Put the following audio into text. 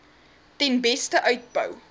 ten beste uitbou